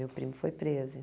Meu primo foi preso